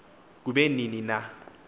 kube nini na